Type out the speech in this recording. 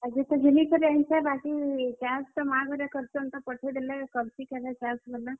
ଆଜି ତ ଘିନି କରି ଆନିଛେଁ, ବାକି ଚାଷ୍ ଟା ମାଁ ଘରେ କରସନ୍ ତ, ପଠେଇ ଦେଲେ କରସିଁ କେଭେ ଚାଷ ବେଲେ।